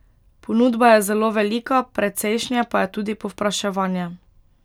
Ponudba je zelo velika, precejšnje pa je tudi povpraševanje.